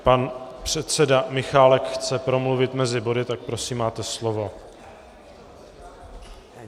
Pan předseda Michálek chce promluvit mezi body, tak prosím, máte slovo.